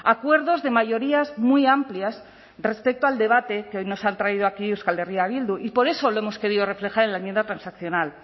acuerdos de mayorías muy amplias respecto al debate que hoy nos han traído aquí euskal herria bildu y por eso lo hemos querido reflejar en la enmienda transaccional